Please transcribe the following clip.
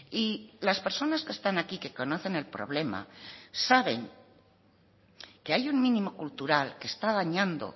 y las personas que están aquí que conocen el problema saben que hay un mínimo cultural que está dañando